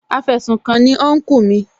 Afẹsùkanni ni Unkú mi